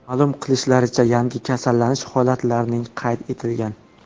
Ma’lum qilishlaricha, yangi kasallanish holatlarining qayd etilgan.